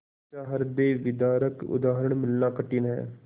ऐसा हृदयविदारक उदाहरण मिलना कठिन है